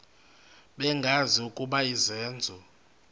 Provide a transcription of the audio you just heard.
bengazi ukuba izenzo